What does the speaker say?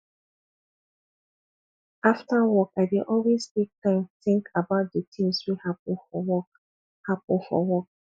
after work i dey always take time tink about di tins wey happen for work happen for work